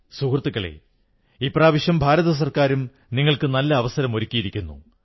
സുഹൃത്തുക്കളേ ഇപ്രാവശ്യം ഭാരത സർക്കാരും നിങ്ങൾക്ക് നല്ല അവസരമൊരുക്കിയിരിക്കുന്നു